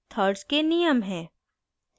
thirds के नियम हैं